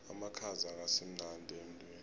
amakhaza akasimnandi emtwini